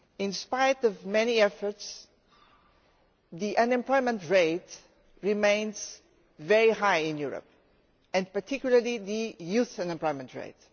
In spite of many efforts, the unemployment rate remains very high in Europe, particularly the youth unemployment rate.